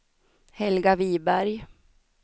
Helga Viberg